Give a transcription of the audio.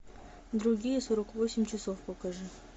другие сорок восемь часов покажи